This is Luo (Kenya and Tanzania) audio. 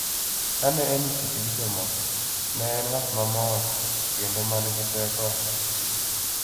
"Kane en e tich gi jomoko, ne en ng'at mamor kendo ma nigi teko ahinya.